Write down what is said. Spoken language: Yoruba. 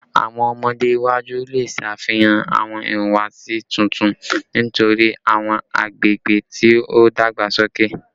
Awọn ọmọde iwaju le ṣe afihan awọn ihuwasi tuntun nitori awọn agbegbe ti o dagbasoke